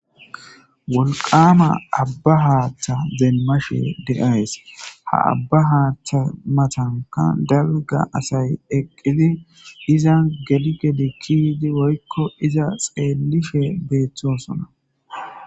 wolqama abba haaththa demashe deays ha abba haaththa matanka dalga asay eqqidi iza gedi gedi kidi woykko iza xeellife beeththosona